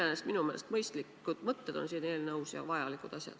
Iseenesest minu meelest mõistlikud mõtted on siin eelnõus, kõik need on vajalikud asjad.